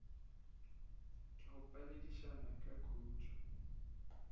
ke go phedišana ka khutšo